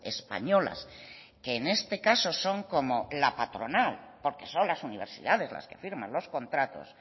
españolas que en este caso son como la patronal porque son las universidades las que firman los contratos